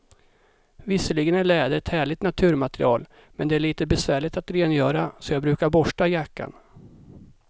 Visserligen är läder ett härligt naturmaterial, men det är lite besvärligt att rengöra, så jag brukar borsta jackan.